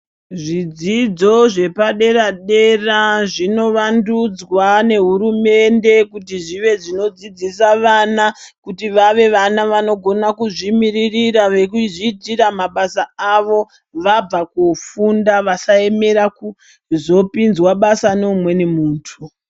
Zvidzidzo zvepadera -dera zvinovandudzwa nehurumende kuti zvive zvinodzidzisa vana kuti vave vana vanogona kuzvimiririra nekuzviitira mabasa avo. Vabva kofunda vasaemera kuzopinzwa basa neumweni muntu.